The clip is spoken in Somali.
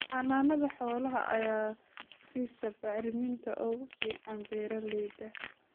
Xanaanada xoolaha ayaa siisa bacriminta ugu fiican beeralayda.